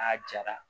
A jara